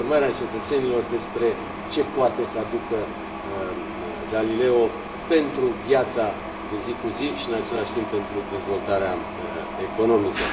informarea cetățenilor despre ce poate să aducă Galileo pentru viața de zi cu zi și, în același timp, pentru dezvoltarea economică.